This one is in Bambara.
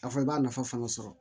A fɔ i b'a nafa fana sɔrɔ